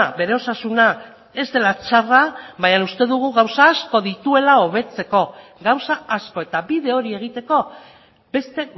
bere osasuna ez dela txarra baina uste dugu gauza asko dituela hobetzeko gauza asko eta bide hori egiteko beste